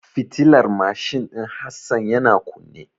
Fitilar mashin din Hassan yana kunne.